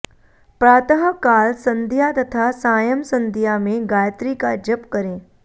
प्रातःकाल सन्ध्या तथा सायं सन्ध्या में गायत्री का जप करें